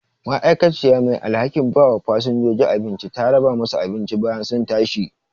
ma'aikaciya mai alhakin bawa fasinjoji abinci ta raba musu abinci bayan sun tashi